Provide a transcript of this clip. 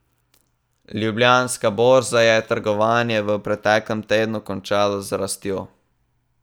Ljubljanska borza je trgovanje v preteklem tednu končala z rastjo.